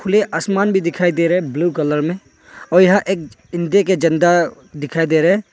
खुले आसमान भी दिखाई दे रहे ब्लू कलर में और यहां एक इंडिया का झंडा दिखाई दे रहे।